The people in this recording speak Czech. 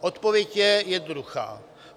Odpověď je jednoduchá.